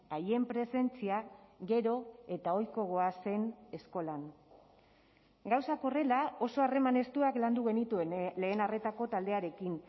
haien presentzia gero eta ohiko goazen eskolan gauzak horrela oso harreman estuak landu genituen lehen arretako taldearekin